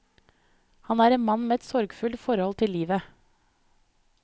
Han er en mann med et sorgfullt forhold til livet.